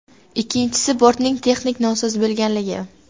Ikkinchisi, bortning texnik nosoz bo‘lganligi.